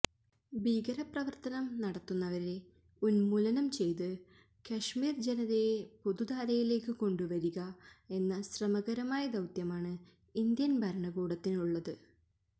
ഭീകരപ്രവര്ത്തനം നടത്തുന്നവരെ ഉന്മൂലനം ചെയ്തു കശ്മീര് ജനതയെ പൊതുധാരയിലേക്ക് കൊണ്ടുവരിക എന്ന ശ്രമകരമായ ദൌത്യമാണ് ഇന്ത്യന് ഭരണകൂടത്തിനുള്ളത്